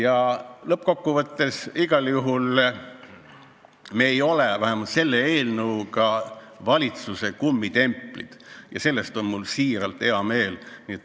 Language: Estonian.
Aga lõppkokkuvõttes me ei ole vähemalt selle eelnõu menetlemisel olnud valitsuse kummitemplid ja selle üle on mul siiralt hea meel.